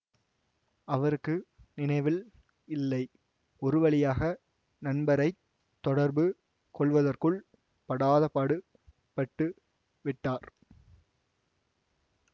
அவருக்கு நினைவில் இல்லை ஒருவழியாக நண்பரைத் தொடர்பு கொள்வதற்குள் படாதபாடு பட்டு விட்டார்